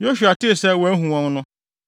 Yosua tee sɛ wɔahu wɔn no,